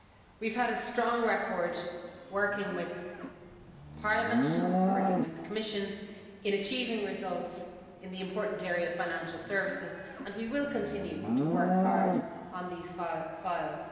We have had a strong record working with Parliament and with the Commission in achieving results in the important area of financial services, and we will continue to work hard on these files.